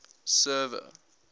server